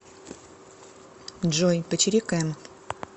джой почирикаем